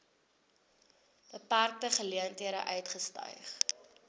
beperkte geleenthede uitgestyg